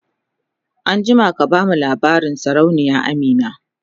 an jima ka bamu labarin sarauniya Amina!